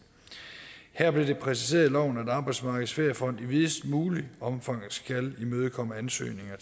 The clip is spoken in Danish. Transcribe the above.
her blev det præciseret i loven at arbejdsmarkedets feriefond i videst muligt omfang skal imødekomme ansøgninger